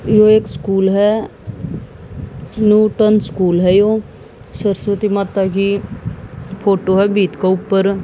ये एक स्कूल है न्यूटन स्कूल है यो सरस्वती माता की फोटो है भीत को ऊपर।